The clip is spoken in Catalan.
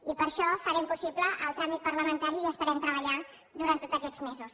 i per això farem possible el tràmit parlamentari i esperem treballar durant tots aquests mesos